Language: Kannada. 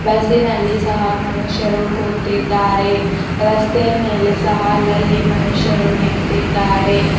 ಬಸ್ಸಿ ನಲ್ಲಿ ಸಹ ಮನುಷ್ಯರು ಕೂತಿದ್ದಾರೆ ರಸ್ತೆಯ ಮೇಲೆ ಸಹ ಅಲ್ಲಲ್ಲಿ ಮನುಷ್ಯರು ನಿಂತಿದ್ದಾರೆ.